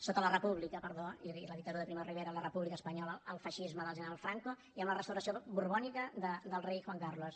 sota la república perdó i la dictadura de primo de rivera i la república espanyola el feixisme del general franco i amb la restauració borbònica del rei juan carlos